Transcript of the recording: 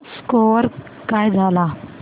score काय झाला